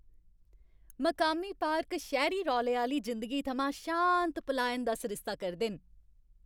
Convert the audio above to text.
मकामी पार्क शैह्री रौले आह्‌ली जिंदगी थमां शांत पलायन दा सरिस्ता करदे न।